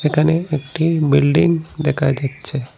এখানে একটি বিল্ডিং দেখা যাচ্ছে।